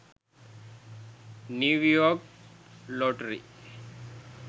new york lottery